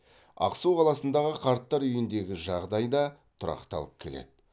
ақсу қаласындағы қарттар үйіндегі жағдай да тұрақталып келеді